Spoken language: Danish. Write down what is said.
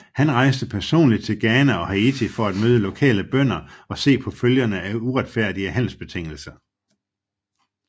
Han rejste personligt til Ghana og Haiti for at møde lokale bønder og se på følgerne af uretfærdige handelsbetingelser